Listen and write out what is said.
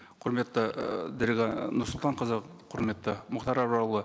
құрметті ііі дариға нұрсұлтанқызы құрметті мұхтар абрарұлы